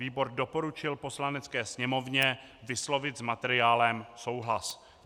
Výbor doporučil Poslanecké sněmovně vyslovit s materiálem souhlas.